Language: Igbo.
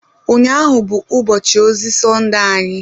Ụnyahụ bụ ụbọchị ozi Sọnde anyị